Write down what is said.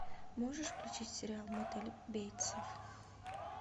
можешь включить сериал мотель бейтсов